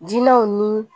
Dinɛw ni